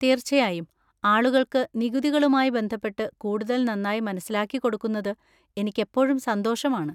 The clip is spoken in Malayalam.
തീർച്ചയായും, ആളുകൾക്ക് നികുതികളുമായി ബന്ധപ്പെട്ട് കൂടുതൽ നന്നായി മനസ്സിലാക്കിക്കൊടുക്കുന്നത് എനിക്കെപ്പോഴും സന്തോഷമാണ്.